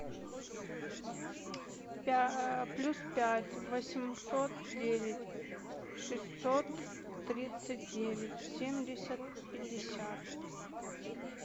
плюс пять восемьсот девять шестьсот тридцать девять семьдесят пятьдесят